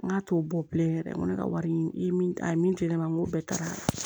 N k'a t'o bɔ bilen yɛrɛ n ko ne ka wari min a ye min to yen ne ma n ko bɛɛ tagara